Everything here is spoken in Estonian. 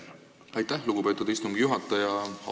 Aitäh, lugupeetud istungi juhataja!